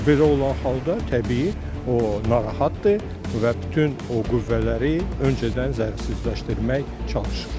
Və belə olan halda təbii o narahatdır və bütün o qüvvələri öncədən zərərsizləşdirməyə çalışır.